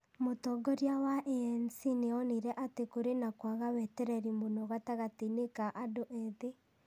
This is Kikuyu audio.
Mũtongoria wa ANC nĩ onire atĩ kũrĩ na kwaga wetereri mũno gatagatĩ-inĩ ka andũ ethĩ .